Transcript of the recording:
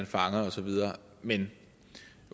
fanger og så videre men